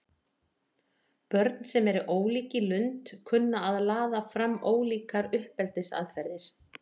Börn sem eru ólík í lund kunna að laða fram ólíkar uppeldisaðferðir.